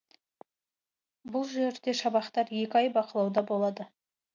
бұл жерде шабақтар екі ай бақылауда болады